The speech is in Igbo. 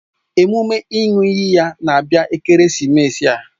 Emume ịṅụ iyi ya na-abịa ekeresimesi a